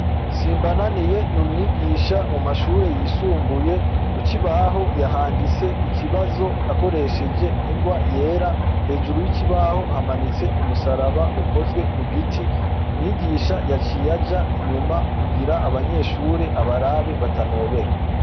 Simbananiye n umwigisha mumashure yisumbuye kukibaho yahanditse ikibazo akoresheje ingwa yera, hejuru yikibaho hamanitse umusaraba ukozwe mu giti. Umwigisha yaciye aja. nyuma kugira abanyeshure abarabe batanobera.